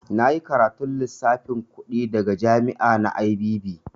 Na yi karatun lissafin kuɗi daga jami'a na IBB.